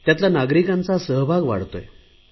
त्यांच्यातला नागरिकांचा सहभाग वाढतोय